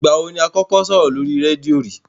Ìgbà wo ni o kọ́kọ́ sọ̀rọ̀ lórí rédíò rí?